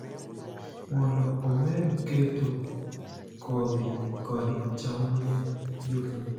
mondo omed keto kodhi kod cham ne jopur